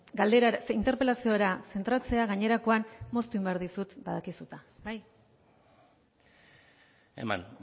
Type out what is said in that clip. interpelaziora zentratzea gainerakoan moztu egin behar dizut badakizu eta bai eman